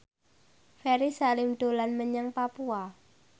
Ferry Salim dolan menyang Papua